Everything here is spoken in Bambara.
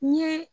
N ye